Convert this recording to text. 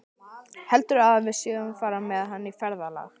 Heldurðu að við séum að fara með hann í ferðalag?